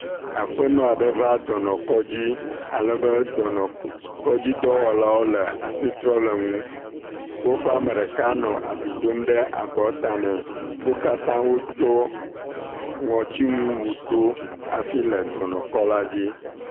Aƒenɔ aɖe va dɔnɔkɔdzi alebe dɔnɔkɔdzi dɔwɔlawo nɔ asi trɔm le ŋu. Woƒe ame ɖeka nɔ abi dom ɖe abɔta nɛ. Wo katã wotsɔ ŋɔtinu wu do hafi le dɔnɔkɔ la dzi.